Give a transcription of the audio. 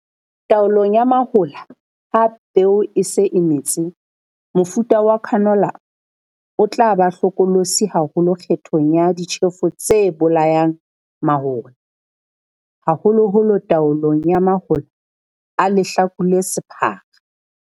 Taolong ya mahola ha peo e se e metse, mofuta wa canola o tla ba hlokolosi haholo kgethong ya ditjhefo tse bolayang mahola, haholoholo taolong ya mahola a lehlaku le sephara.